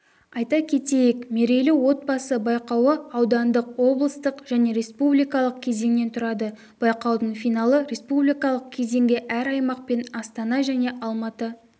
айта кетейік мерейлі отбасы байқауы аудандық облыстық және республикалық кезеңнен тұрады байқаудың финалы республикалық кезеңге әр аймақ пен астана және алматы